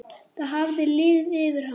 Það hafði liðið yfir hana!